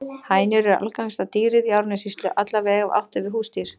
Hænur eru algengasta dýrið í Árnessýslu, alla vega ef átt er við húsdýr.